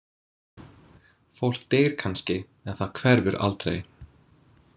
Fólk deyr kannski en það hverfur aldrei.